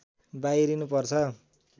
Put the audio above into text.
बाहिरिनु पर्छ